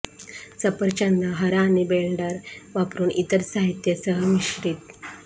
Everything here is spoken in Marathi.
सफरचंद हरा आणि ब्लेंडर वापरून इतर साहित्य सह मिश्रित